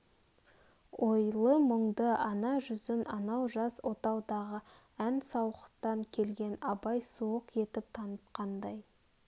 ойлы-мұңды ана жүзін анау жас отаудағы ән сауықтан келген абайға суық етіп танытқандай